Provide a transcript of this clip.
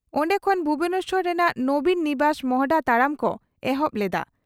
ᱚᱱᱰᱮ ᱠᱷᱚᱱ ᱵᱷᱩᱵᱚᱱᱮᱥᱚᱨ ᱨᱮᱱᱟᱜ 'ᱱᱚᱵᱤᱱ' ᱱᱤᱵᱟᱥ ᱢᱚᱦᱚᱰᱟ ᱛᱟᱲᱟᱢ ᱠᱚ ᱮᱦᱚᱵ ᱞᱮᱫᱼᱟ ᱾